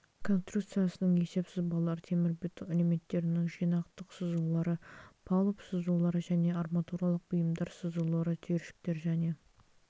конструкциясының есеп сызбалары темірбетон элементтерінің жинақтық сызулары палуб сызулары және арматуралық бұйымдар сызулары түйіршіктер және